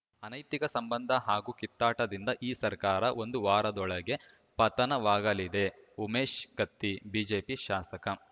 ಅನೈತಿಕ ಸಂಬಂಧ ಹಾಗೂ ಕಿತ್ತಾಟದಿಂದ ಈ ಸರ್ಕಾರ ಒಂದು ವಾರದೊಳಗೆ ಪತನವಾಗಲಿದೆ ಉಮೇಶ್‌ ಕತ್ತಿ ಬಿಜೆಪಿ ಶಾಸಕ